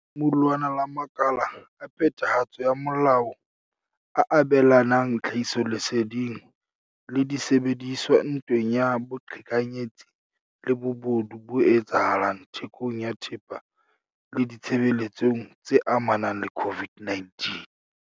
ke lemulwana la makala a phethahatso ya molao a abelanang tlhahisoleseding le disebediswa ntweng ya boqhekanyetsi le bobodu bo etsahalang thekong ya thepa le ditshebeletsong tse amanang le COVID-19.